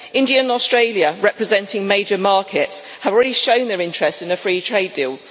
India and Australia, representing major markets, have already shown their interest in a free trade deal.